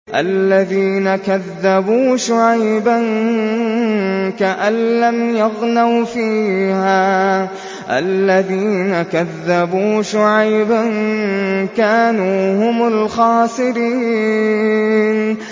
الَّذِينَ كَذَّبُوا شُعَيْبًا كَأَن لَّمْ يَغْنَوْا فِيهَا ۚ الَّذِينَ كَذَّبُوا شُعَيْبًا كَانُوا هُمُ الْخَاسِرِينَ